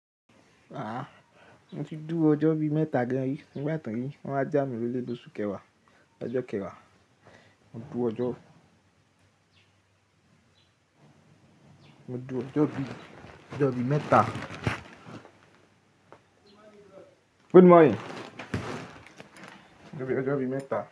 Mo ti dúro ọjọ́ bí mẹ́ta gan rí, nigba ti wọ́n wáa já mí lóole lóṣù kẹwàá, lọjọ́ kẹwàá. Mo dúro ọjọ́, mo dú ọjọ́ bí, ọjọ́ bí mẹ́ta. Good morning. Ó ṣe bí ọjọ́ bí mẹ́ta.